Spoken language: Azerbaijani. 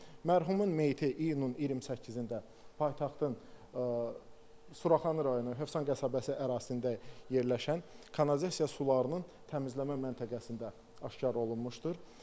Mərhumun meyiti iyunun 28-də paytaxtın Suraxanı rayonu Hövsan qəsəbəsi ərazisində yerləşən kanalizasiya sularının təmizləmə məntəqəsində aşkar olunmuşdur.